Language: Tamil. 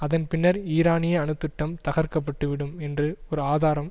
அதன் பின்னர் ஈரானிய அணு திட்டம் தகர்க்க பட்டு விடும் என்று ஒரு ஆதாரம்